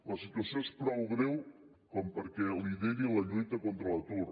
la situació és prou greu perquè lideri la lluita contra l’atur